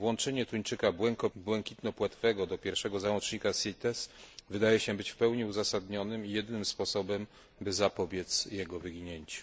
Włączenie tuńczyka błękitnopłetwego do pierwszego załącznika CITES wydaje się być w pełni uzasadnionym i jedynym sposobem, by zapobiec jego wyginięciu.